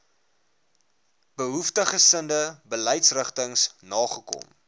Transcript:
behoeftiggesinde beleidsrigtings nagekom